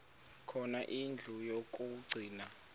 khona indlu yokagcina